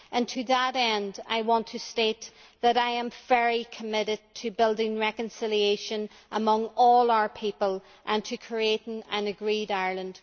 To that end, I want to state that I am very committed to building reconciliation among all our people and to creating an agreed Ireland.